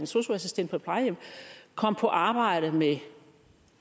sosu assistent på et plejehjem kom på arbejdet med